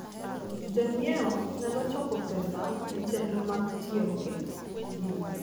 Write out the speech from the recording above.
Jonyiewo nyalo choko pesa ne chenro mag tiego ji.